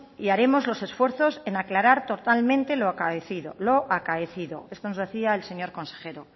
y haremos los esfuerzos en aclarar totalmente lo acaecido lo acaecido esto nos decía el señor consejero